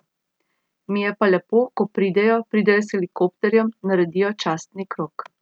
Mi je pa lepo, ko pridejo, pridejo s helikopterjem, naredijo častni krog ...